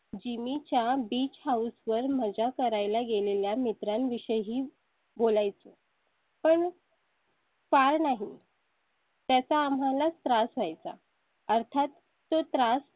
आम्ही jimmy च्या beach house वर मजा करायला गेलेल्या मित्रा विषयी बोलाय चं. पण. का नाही . त्याचा आम्हाला त्रास व्हाय चा अर्थात तो त्रास